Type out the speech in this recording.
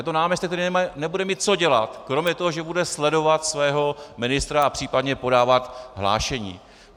Je to náměstek, který nebude mít co dělat kromě toho, že bude sledovat svého ministra a případně podávat hlášení.